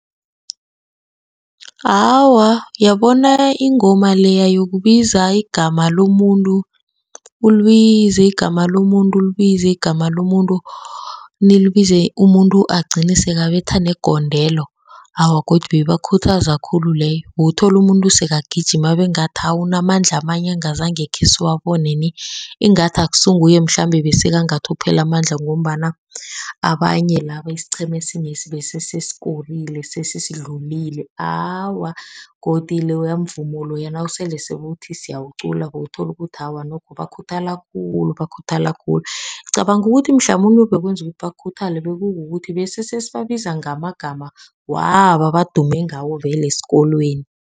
Awa, uyabona ingoma leya yokubiza igama lomuntu, ulibize igama lomuntu, ulibize igama lomuntu, nilibize umuntu agcine sekabetha negondelo. Awa, godu beyibakhuthaza khulu leyo bewuthola umuntu sekagijima abengathi unamandla amanye engazange khesiwabone ni. Ingathi akusinguye mhlambe bese kangathi uphela amandla ngombana abanye laba isiqhema sinyesi bese sikorile sesisidlulile. Awa, godu loya mvumo loya nasele sewuthi siyawuqula, bokuthola ukuthi awa nokho bakhuthala khulu, bakhuthala khulu. Ngicabanga ukuthi mhlamunye obakwenza bakhuthale bekukuthi besesesibabiza ngamagama wabo ebadume ngawo vele esikolweni.